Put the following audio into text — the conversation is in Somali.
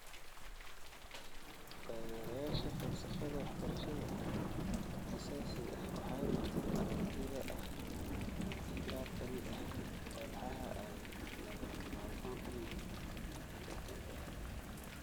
Taageerayaasha falsafada waxbarashada aasaasiga ah waxay qabteen aragtida ah in qaar ka mid ah walxaha walxaha ay lagama maarmaan u yihiin tan dambe.